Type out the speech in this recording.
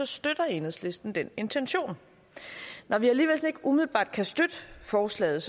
støtter enhedslisten den intention når vi alligevel ikke umiddelbart kan støtte forslaget